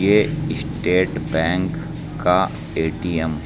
ये state bank का ATM है।